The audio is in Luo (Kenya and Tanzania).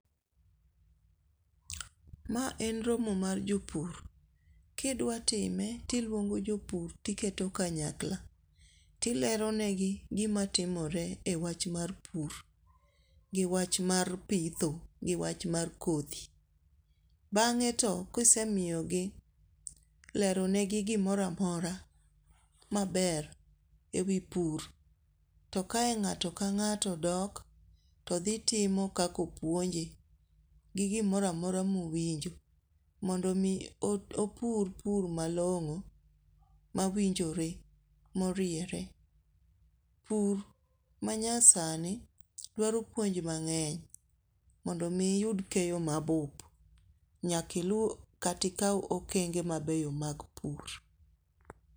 Mae en romo mar jopur, kidwatime to iluongo jo pur tiketo kanyakla, tileronegi gima timore e wach mar pur, gi wach mar pitho gi wach mar kothi, bang'e to kisemiyogi leronegi gimoro amora maber e wi pur, to kae ng'ato ka ng'ato dok to dhi timo kaka opuonje gi gimora amora ma owinjo mondo mi opur pur moro malong'o mawinjore moriere, pur manyasani dwaro puonj mang'eny mondo omi iyud keyo ma bup, nyaka ilu kata ikaw okeng'e mabeyo mag pur.